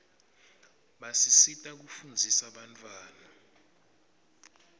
basisita kufundzisa bantfwana